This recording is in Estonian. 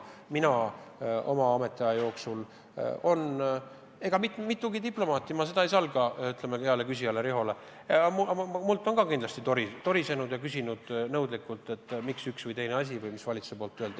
Minult on minu ametiaja jooksul mitugi diplomaati – ma ei salga seda hea küsija Riho ees – torisedes nõudlikult küsinud, miks keegi valitsusest on üht või teist asja öelnud.